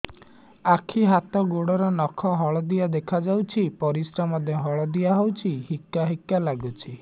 ଆଖି ହାତ ଗୋଡ଼ର ନଖ ହଳଦିଆ ଦେଖା ଯାଉଛି ପରିସ୍ରା ମଧ୍ୟ ହଳଦିଆ ହଉଛି ହିକା ହିକା ଲାଗୁଛି